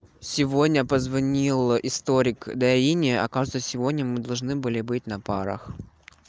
сегодня позвонил историк дарине оказывается сегодня мы должны были быть на парах